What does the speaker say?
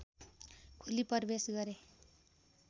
खोली प्रवेश गरे